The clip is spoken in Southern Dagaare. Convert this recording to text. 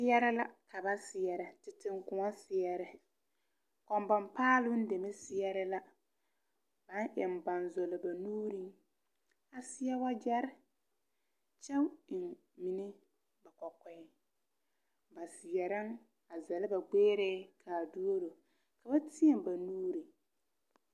Seɛrɛ la ka seɛrɛ teŋkõɔ seɛre kɔnbɔn paaloŋ deme seɛɛre la baŋ eŋ banzɔlɔ ba nuuriŋ a seɛ wagyɛrre kyɛ eŋ mine ba kɔkɔɛŋ ba seɛrɛŋ a zɛllɛ ba gbɛɛrɛɛ kaa duoro ka ba tēɛ ba nuure.